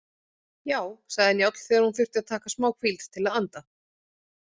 Já, sagði Njáll þegar hún þurfti að taka smáhvíld til að anda.